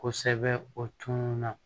Kosɛbɛ o tun na